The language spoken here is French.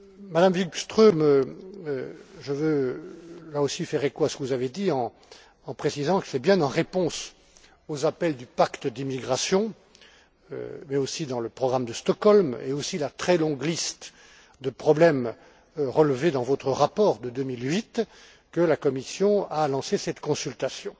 Madame Wikström, je veux, là aussi, faire écho à ce que vous avez dit, en précisant que c'est bien en réponse aux appels du pacte d'immigration mais aussi dans le programme de Stockholm et aussi à la très longue liste de problèmes relevés dans votre rapport de 2008, que la Commission a lancé cette consultation.